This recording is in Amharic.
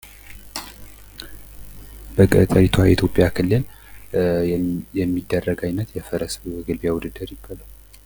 በገጠሪቷ ኢትዮጵያ ክልል የሚደረግ የፈረስ ግልቢያ ውድድር።